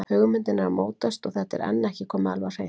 Hugmyndin er að mótast og þetta er enn ekki komið alveg á hreint.